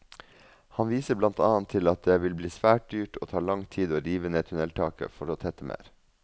Han viser blant annet til at det vil bli svært dyrt og ta lang tid å rive ned tunneltaket for å tette mer.